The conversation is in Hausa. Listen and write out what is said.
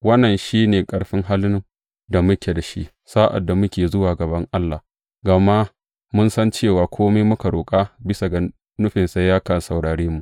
Wannan shi ne ƙarfin halin da muke da shi sa’ad da muke zuwa a gaban Allah, gama mun san cewa kome muka roƙa bisa ga nufinsa, yakan saurare mu.